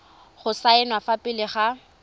go saenwa fa pele ga